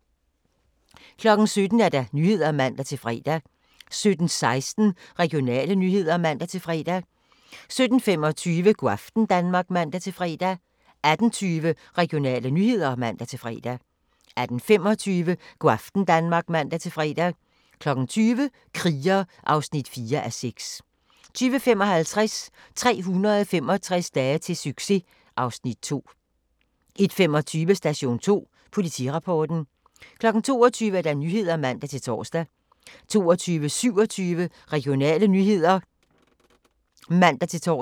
17:00: Nyhederne (man-fre) 17:16: Regionale nyheder (man-fre) 17:25: Go' aften Danmark (man-fre) 18:20: Regionale nyheder (man-fre) 18:25: Go' aften Danmark (man-fre) 20:00: Kriger (4:6) 20:55: 365 dage til succes (Afs. 2) 21:25: Station 2: Politirapporten 22:00: Nyhederne (man-tor) 22:27: Regionale nyheder (man-tor)